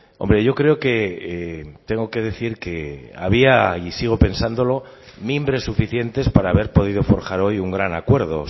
hombre yo creo que tengo que decir que había y sigo pensándolo mimbres suficientes para haber podido forjar hoy un gran acuerdo